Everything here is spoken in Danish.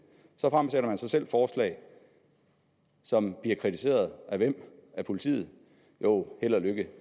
så fremsætter man så selv forslag som bliver kritiseret af hvem af politiet jo held og lykke